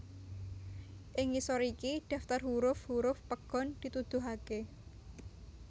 Ing ngisor iki daftar huruf huruf pegon dituduhaké